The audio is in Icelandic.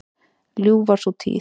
Ljúf var sú tíð.